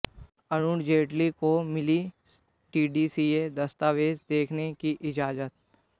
अरुण जेटली को मिली डीडीसीए दस्तावेज देखने की इजाजत